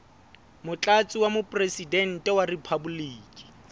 motlatsi wa mopresidente wa riphaboliki